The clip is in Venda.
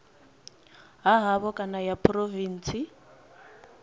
ha havho kana ya phurovintsi